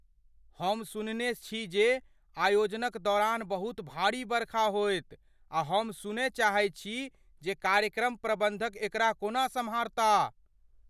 हम सुनने छी जे आयोजनक दौरान बहुत भारी बरखा होयत आ हम सुनय चाहैत छी जे कार्यक्रम प्रबंधक एकरा कोना सम्हारता।